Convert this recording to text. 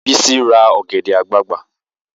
Bisi ra ọ̀gẹ̀dẹ̀ àgbagbà